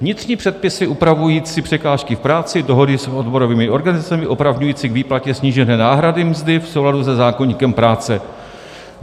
Vnitřní předpisy upravující překážky v práci, dohody s odborovými organizacemi opravňující k výplatě snížené náhrady mzdy v souladu se zákoníkem práce.